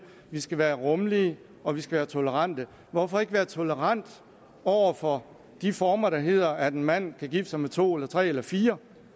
vi skal være rummelige og vi skal være tolerante hvorfor ikke være tolerant over for de former der hedder at en mand kan gifte sig med to eller tre eller fire